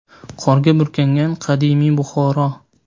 Qorga burkangan qadimiy Buxoro.